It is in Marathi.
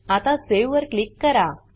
आता सावे वर क्लिक करा